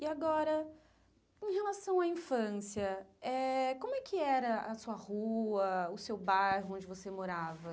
E agora, em relação à infância, eh como é que era a sua rua, o seu bairro onde você morava?